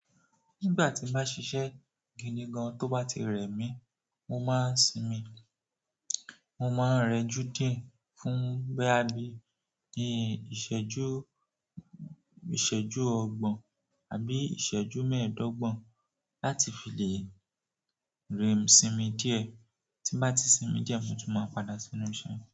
Nígbà tí mo bá ṣisé gidi gan, tó bá ti rẹ̀ mí, mo máa ń sinmi. Mo máa ń rẹjú dìe fún boya bí i ìṣẹ́jú ọgbọ̀n àbí ìṣẹ́jú mẹ́ẹ̀ẹ́dọ́gbọ̀n láti fi lè rẹ̀- sinmi díẹ̀. Tí n bá ti sinmi díẹ̀ mo tú máa padà sí enú iṣẹ́.